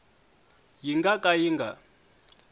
yi nga ka yi nga